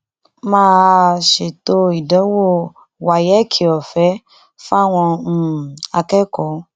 má a ṣètò ìdánwò wáyẹ́ẹ̀kì ọ̀fẹ́ fáwọn um akẹ́kọ̀ọ́